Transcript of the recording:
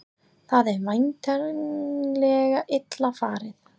Það er væntanlega illa farið?